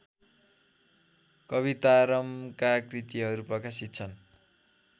कवितारामका कृतिहरू प्रकाशित छन्